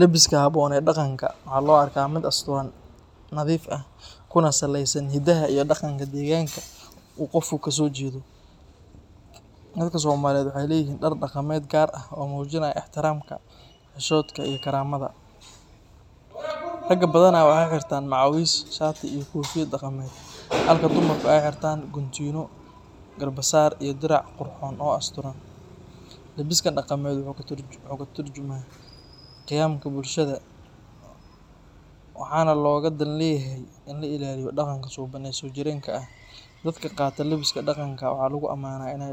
Labiska habboon ee dhaqanka waxaa loo arkaa mid asturan, nadiif ah, kuna saleysan hidaha iyo dhaqanka deegaanka uu qofku kasoo jeedo. Dadka Soomaaliyeed waxay leeyihiin dhar dhaqameed gaar ah oo muujinaya ixtiraamka, xishoodka iyo karaamada. Ragga badanaa waxay xirtaan macawiis, shaati iyo koofiyad dhaqameed, halka dumarku ay xirtaan guntiino, garbasaar iyo dirac qurxoon oo asturan. Labiskan dhaqameed wuxuu ka tarjumaa qiyamka bulshada, waxaana looga dan leeyahay in la ilaaliyo dhaqanka suuban ee soojireenka ah. Dadka qaata labiska dhaqanka waxaa lagu ammaanaa inay